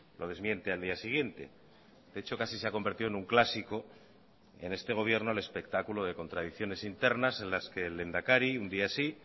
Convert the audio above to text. lo desmiente al día siguiente de hecho casi se ha convertido en un clásico en este gobierno el espectáculo de contradicciones internas en las que el lehendakari un día sí